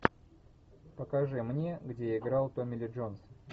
покажи мне где играл томми ли джонс